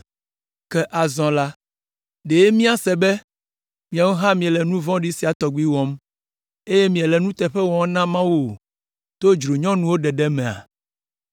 Ke azɔ la, ɖe míase be miawo hã miele nu vɔ̃ɖi sia tɔgbi wɔm, eye miele nuteƒe wɔm na Mawu o to dzronyɔnuwo ɖeɖe mea?”